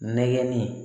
Nɛgɛnni